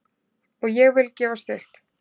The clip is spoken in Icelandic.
Og ég vil gefst upp!